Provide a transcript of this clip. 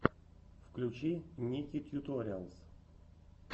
включи ники тьюториалс